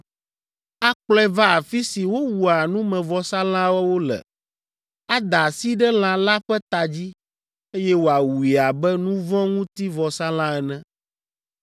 Akplɔe va afi si wowua numevɔsalãwo le, ada asi ɖe lã la ƒe ta dzi, eye wòawui abe nu vɔ̃ ŋuti vɔsalã ene.